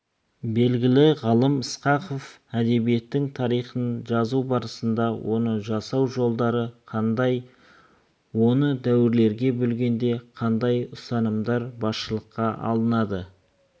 белгілі ғалым ысқақов әдебиеттің тарихын жазу барысында оны жасау жолдары қандай оны дәуірлерге бөлгенде қандай ұстанымдар басшылыққа алынады